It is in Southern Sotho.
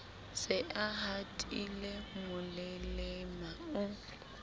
se a hatile molelema o